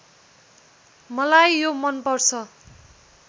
मलाई यो मनपर्छ